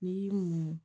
N'i y'i muɲu